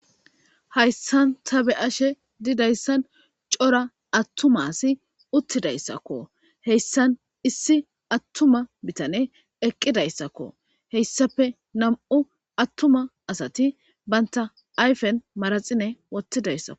Hayssan tha be7ashee didayssan cora aththuma asi uththidayssakoo;heyssan issi aththuma bithanee eqqidayssakoo;heyssape nam7u aththuma asathi banththa ayfen manatsirewoththidayssakoo.